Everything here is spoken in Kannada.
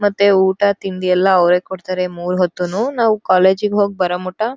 ಮತ್ತೆ ಊಟ ತಿಂಡಿ ಎಲ್ಲ ಅವ್ರೆ ಕೊಡ್ತಾರೆ ಮೂರ್ ಹೊತ್ತೂನು ನಾವು ಕೋಲೇಜ್ ಗ್ ಹೋಗ್ ಬರೋಮುಟ.